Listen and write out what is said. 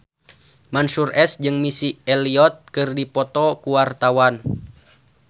Mansyur S jeung Missy Elliott keur dipoto ku wartawan